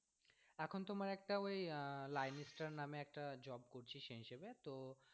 এখন তোমার একটা ওই আহ linestar নামে একটা job করছি সেই হিসাবে তো।